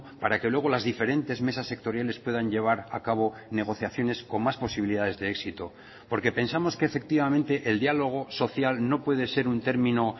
para que luego las diferentes mesas sectoriales puedan llevar a cabo negociaciones con más posibilidades de éxito porque pensamos que efectivamente el diálogo social no puede ser un término